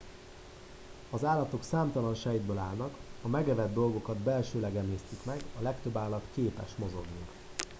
az állatok számtalan sejtből állnak a megevett dolgokat belsőleg emésztik meg a legtöbb állat képes mozogni